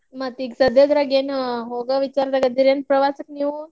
ಮತ್ ಈಗ ಸದ್ಯದ್ರಾಗೇನು ಹೊಗೆಯಿದ್ದಂಗ ಆದಿರಂತ ಹೇಳಾತಿರಿ ನೀವು.